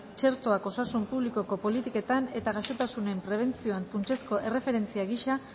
txertoak osasun publikoko politiketan eta gaixotasunen prebentzioan funtsezko erreferentzia gisa